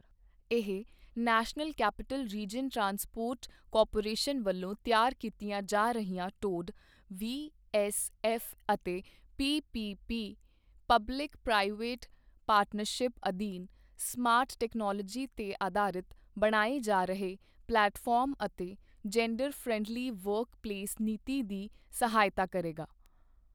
ਇਹ national capital region transport corporation ਵੱਲੋਂ ਤਿਆਰ ਕੀਤੀਆਂ ਜਾ ਰਹੀਆਂ ਟੌਡ, ਵੀ ਐੱਸ ਐੱਫ ਅਤੇ P P P public private partnership ਅਧੀਨ ਸਮਾਰਟ ਤਕਨਾਲੋਜੀ ਤੇ ਅਧਾਰਿਤ ਬਣਾਏ ਜਾ ਰਹੇ ਪਲੇਟਫਾਰਮ ਅਤੇ ਜੈਂਡਰ ਫਰੈਂਡਲੀ ਵਰਕ ਪਲੇਸ ਨੀਤੀ ਦੀ ਸਹਾਇਤਾ ਕਰੇਗਾ।